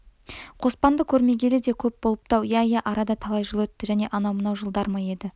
қоспанды көрмегелі де көп болыпты-ау иә иә арада талай жыл өтті және анау-мынау жылдар ма еді